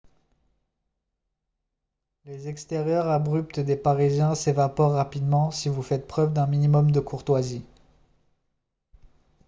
les extérieurs abrupts des parisiens s'évaporent rapidement si vous faites preuve d'un minimum de courtoisie